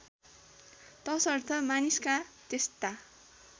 तसर्थ मानिसका त्यस्ता